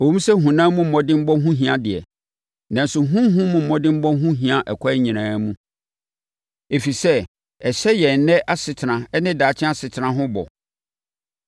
Ɛwom sɛ honam mu mmɔdemmɔ ho hia deɛ, nanso honhom mu mmɔdemmɔ ho hia akwan nyinaa mu, ɛfiri sɛ, ɛhyɛ yɛn ɛnnɛ asetena ne daakye asetena ho bɔ.